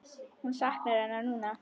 Hún saknar hennar núna.